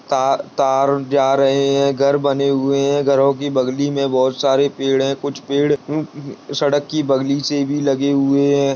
ता-तार जा रहे हैं घर बने हुए हैं घरो की बगली में बहोत सारे पेड़ हैं कुछ पेड़ उ-उ सड़क की बगली से भी लगे हुए हैं।